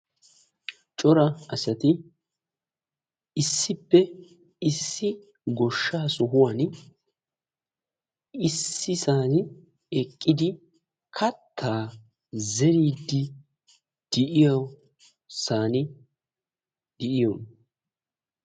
corra assati issipe goshaa sohuwani issippe eqidi katta zeridi de"oosona.